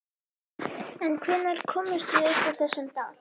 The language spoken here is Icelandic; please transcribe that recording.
En hvenær komumst við upp úr þessum dal?